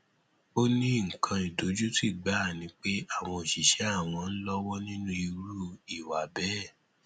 ó ní nǹkan ìdojútì gbáà ni pé àwọn òṣìṣẹ àwọn ń lọwọ nínú irú ìwà bẹẹ